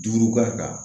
Duuru k'a kan